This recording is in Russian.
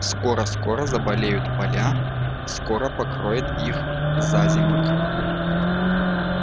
скоро-скоро заболеют поля скоро покроет их зазимок